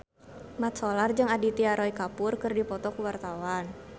Mat Solar jeung Aditya Roy Kapoor keur dipoto ku wartawan